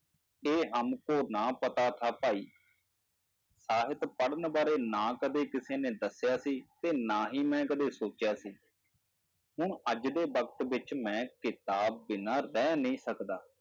ਇਹ ਹਮਕੋ ਨਾ ਪਤਾ ਥਾ ਭਾਈ ਸਾਹਿਤ ਪੜ੍ਹਨ ਬਾਰੇ ਨਾ ਕਦੇ ਕਿਸੇ ਨੇ ਦੱਸਿਆ ਸੀ, ਤੇ ਨਾ ਹੀ ਮੈਂ ਕਦੇ ਸੋਚਿਆ ਸੀ, ਹੁਣ ਅੱਜ ਦੇ ਵਕਤ ਵਿੱਚ ਮੈਂ ਕਿਤਾਬ ਬਿਨਾਂ ਰਹਿ ਨਹੀਂ ਸਕਦਾ।